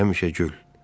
Həmişə gül.